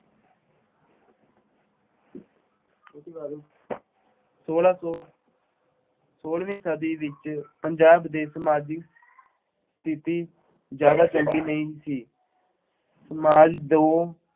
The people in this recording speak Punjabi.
ਉਹਦੇ ਬਾਰੇ ਸੋਲਾਂ ਸੌ ਸੋਲਵੀਂ ਸਦੀ ਵਿੱਚ ਪੰਜਾਬ ਦੀ ਸਮਾਜਿਕ ਸਥਿਤੀ ਜ਼ਿਆਦਾ ਚੰਗੀ ਨਹੀਂ ਸੀ। ਸਮਾਜ ਦੋ